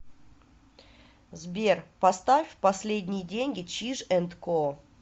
сбер поставь последние деньги чиж энд ко